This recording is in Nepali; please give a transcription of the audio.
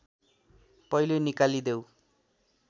पहिले निकालिदेऊ